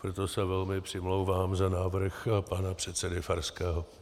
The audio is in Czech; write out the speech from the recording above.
Proto se velmi přimlouvám za návrh pana předsedy Farského.